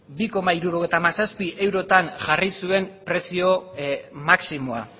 bi koma hirurogeita hamazazpi eurotan jarri zuen prezio maximoa